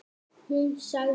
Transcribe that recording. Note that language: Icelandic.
Hún sagði.